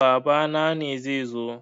Babana ne zai zo.